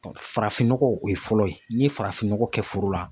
Farafin nɔgɔ o ye fɔlɔ ye n'i ye farafin nɔgɔ kɛ foro la